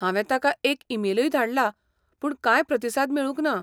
हांवें तांका एक ईमेलूय धाडलां पूण कांय प्रतिसाद मेळूंक ना.